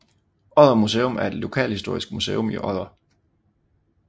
Odder Museum er et lokalhistorisk museum i Odder